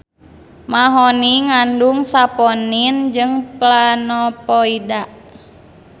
Mahoni ngandung saponin jeung planovoida